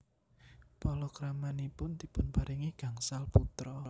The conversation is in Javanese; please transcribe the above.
Palakramanipun dipunparingi gangsal putra